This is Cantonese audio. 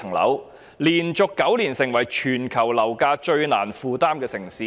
香港連續9年成為全球樓價最難負擔的城市。